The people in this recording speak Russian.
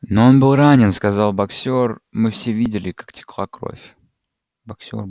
но он был ранен сказал боксёр мы все видели как текла кровь